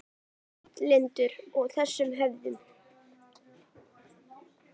Hann var hlynntur þessum höftum.